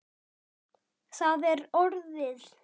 Það er orðið.